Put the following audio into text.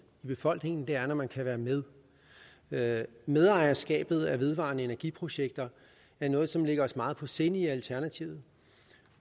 i befolkningen er når man kan være med med medejerskabet af vedvarende energi projekter er noget som ligger os meget på sinde i alternativet